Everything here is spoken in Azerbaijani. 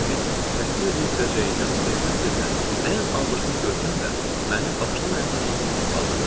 Elə bil təhqir eləyə biləcəyindən sevinə-sevinə ən abırsız görkəmlə məni başdan ayağa can süzüb bağırdı.